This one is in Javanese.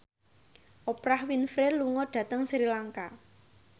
Oprah Winfrey lunga dhateng Sri Lanka